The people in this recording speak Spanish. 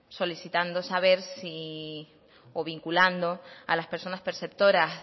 vinculando a las personas perceptoras